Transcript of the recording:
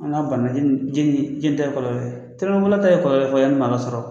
A n'a banna jeni jeni ta ye kɔlɔlɔ ye telimanibolila ta ye kɔɔlɔlɔ ye yanni maa ka sɔrɔ